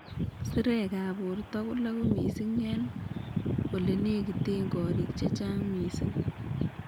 Sirekab borto koloku mising eng' olenegiten ngoroik chechang mising